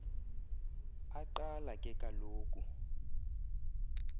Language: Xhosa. aqala ke kaloku